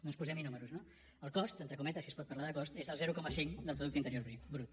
doncs posemhi números no el cost entre cometes si es pot parlar de cost és del zero coma cinc del producte interior brut